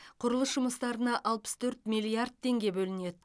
құрылыс жұмыстарына алпыс төрт миллиард теңге бөлінеді